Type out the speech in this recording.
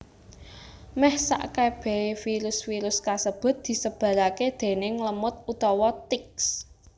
Meh sakebehe virus virus kasebut disebarake déning lemut utawa ticks